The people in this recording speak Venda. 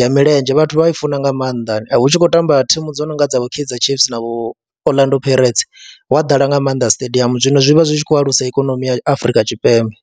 ya milenzhe vhathu vha i funa nga maanḓa hu tshi khou tamba thimu dzo no nga dza vho Kaizer Chiefs na vho Orlando Pirates, hu a ḓala nga maanḓa stadium zwino zwi vha zwi tshi khou alusa ikonomi ya Afrika Tshipembe.